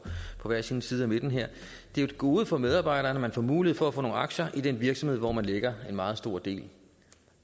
på hver sin side af midten her det er et gode for medarbejderne at man får mulighed for at få nogle aktier i den virksomhed hvor man lægger en meget stor del